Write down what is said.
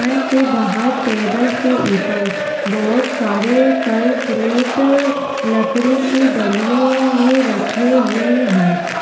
दुकान के बाहर टेबल के ऊपर बहोत सारे फल फ्रूट लकड़ी की डलियों में रखे हुए हैं।